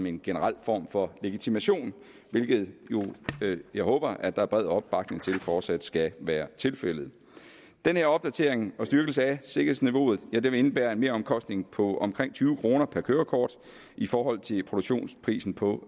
en generel form for legitimation hvilket jeg håber at der er bred opbakning til fortsat skal være tilfældet den her opdatering og styrkelse af sikkerhedsniveauet indebærer en meromkostning på omkring tyve kroner per kørekort i forhold til produktionsprisen på